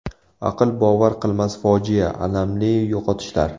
Aql bovar qilmas fojia, alamli yo‘qotishlar.